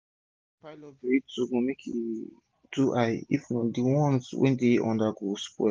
no pile up vegetable make e too high if not d ones wey dey under go spoil